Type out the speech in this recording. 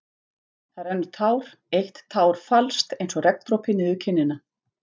Það rennur tár, eitt tár falskt einsog regndropi niður kinnina.